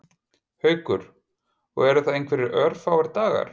Haukur: Og eru það einhverjir örfáir dagar?